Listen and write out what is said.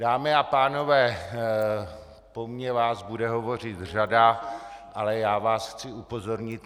Dámy a pánové, po mně vás bude hovořit řada, ale já vás chci upozornit.